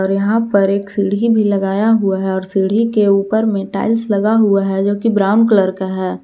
यहां पर एक सीढ़ी भी लगाया हुआ है और सीढ़ी के ऊपर में टाइल्स लगा हुआ है जो कि ब्राउन कलर का है।